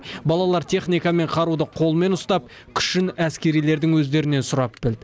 балалар техника мен қаруды қолмен ұстап күшін әскерилердің өздерінен сұрап білді